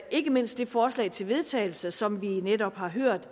ikke mindst det forslag til vedtagelse som vi netop har hørt